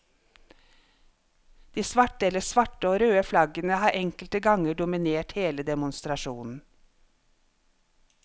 De svarte eller svarte og røde flaggene har enkelte ganger dominert hele demonstrasjonen.